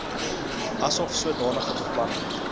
asof sodanige bepaling